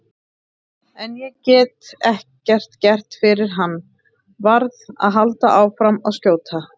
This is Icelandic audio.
En ég get ekkert gert fyrir hann, verð að halda áfram að skjóta.